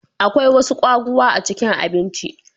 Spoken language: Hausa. Akwai wasu kwaguwa a cikin abinci.